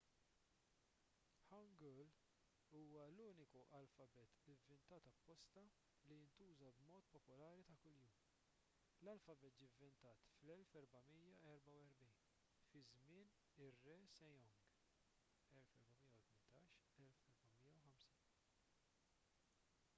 hangeul huwa l-uniku alfabet ivvintat apposta li jintuża b’mod popolari ta' kuljum. l-alfabet ġie ivvintat fl-1444 fi żmien ir-re sejong 1418 - 1450